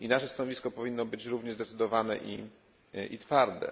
I nasze stanowisko powinno być równie zdecydowane i twarde.